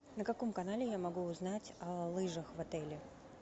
на каком канале я могу узнать о лыжах в отеле